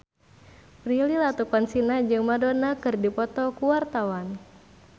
Prilly Latuconsina jeung Madonna keur dipoto ku wartawan